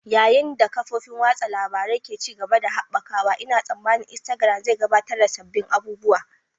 Yayin da kafofin watsa labarun ke ci gaba da haɓakawa, Ina tsammanin Instagram zai gabatar da sabbin abubuwa.